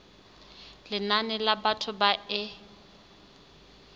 lenane la batho ba e